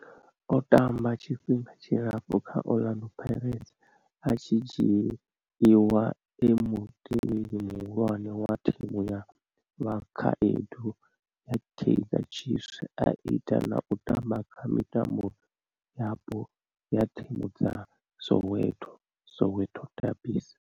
O tamba tshifhinga tshilapfhu kha Orlando Pirates, a tshi dzhiiwa e mutevheli muhulwane wa thimu ya vhakhaedu ya Kaizer Chiefs a ita na u tamba kha mitambo yapo ya thimu dza Soweto, Soweto derbies.